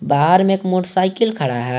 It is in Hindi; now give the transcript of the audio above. बाहर में एक मोटरसाइकिल खड़ा है।